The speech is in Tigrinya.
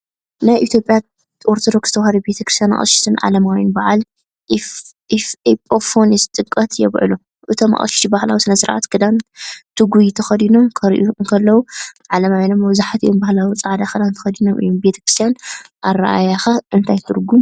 ናይ ኢትዮጵያ ኦርቶዶክስ ተዋህዶ ቤተክርስትያን ኣቕሽሽትን ዓለማውያንን በዓል ኤጲፋንዮስ /ጥምቀት የብዕሉ። እቶም ኣቕሽሽቲ ባህላዊ ስነ-ስርዓት ክዳን (ተጉይ) ተኸዲኖም ክረኣዩ እንከለዉ፡ ዓለማውያን ድማ መብዛሕትኦም ባህላዊ ጻዕዳ ክዳን ተኸዲኖም እዮም። ብክርስትያናዊ ኣረኣእያኸ እንታይ ትርጕም ኣለዎ?